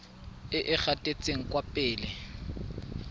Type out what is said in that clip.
e e gatetseng kwa pele